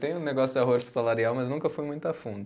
Tem um negócio de arrocho salarial, mas nunca fui muito a fundo.